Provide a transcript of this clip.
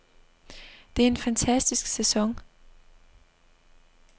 Det er en fantastisk sæson.